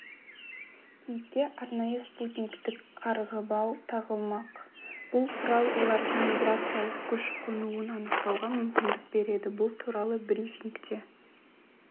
киікке арнайы спутниктік қарғыбау тағылмақ бұл құрал олардың миграциялық көшіп-қонуын анықтауға мүмкіндік береді бұл туралы брифингте